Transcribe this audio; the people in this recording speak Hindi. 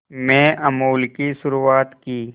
में अमूल की शुरुआत की